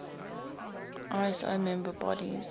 iso member bodies